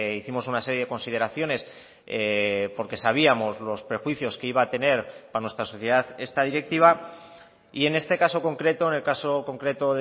hicimos una serie de consideraciones porque sabíamos los prejuicios que iba a tener para nuestra sociedad esta directiva y en este caso concreto en el caso concreto